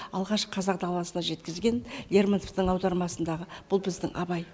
алғаш қазақ даласына жеткізген лермонтовтың аудармасындағы бұл біздің абай